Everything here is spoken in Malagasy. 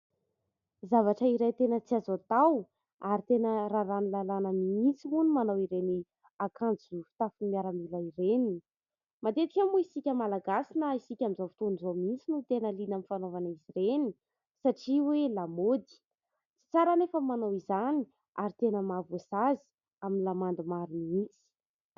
Zavatra iray tena tsy azo atao ary tena raran'ny lalàna mihitsy moa ny manao ireny akanjo fitafy miaramila ireny. Matetika moa isika Malagasy na isika amin'izao fotoan'izao mihitsy no tena liana amin'ny fanaovana azy ireny satria hoe lamaody. Tsy tsara anefa ny manao izany ary tena mahavoasazy amin'ny lamandy maro mihitsy.